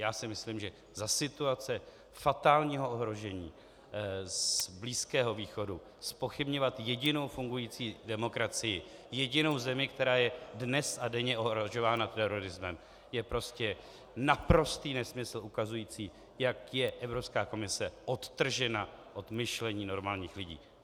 Já si myslím, že za situace fatálního ohrožení z Blízkého východu zpochybňovat jedinou fungující demokracii, jedinou zemi, která je dnes a denně ohrožována terorismem, je prostě naprostý nesmysl ukazující, jak je Evropská komise odtržena od myšlení normálních lidí.